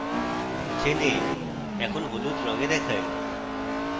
chain a এখন হলুদ রঙে দেখায়